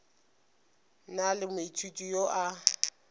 na le moithuti yo a